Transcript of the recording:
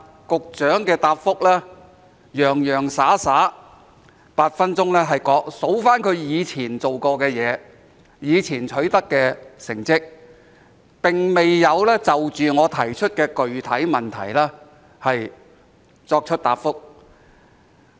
局長在剛才的答覆，洋洋灑灑以8分鐘提及他以前做過的事，以前取得的成績，並未就我提出的具體質詢作答。